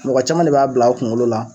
mɔgɔ caman de b'a bila u kuŋolo la